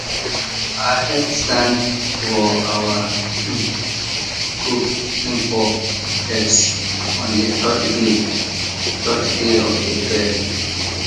i help stand for our um coop info desk on the third day third day of the fair